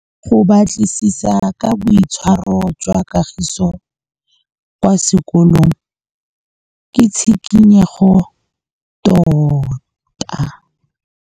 Go batlisisa ka boitshwaro jwa Kagiso kwa sekolong ke tshikinyêgô tota.